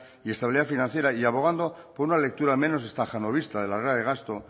y estabilidad financiera y abogando por una lectura menos estajanovista de la regla de gasto